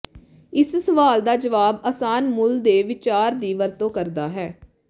ਇਸ ਸਵਾਲ ਦਾ ਜਵਾਬ ਆਸਾਨ ਮੁੱਲ ਦੇ ਵਿਚਾਰ ਦੀ ਵਰਤੋਂ ਕਰਦਾ ਹੈ